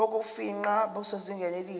bokufingqa busezingeni elihle